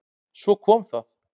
Svo kom það!